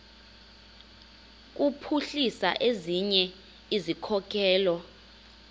kuphuhlisa ezinye izikhokelo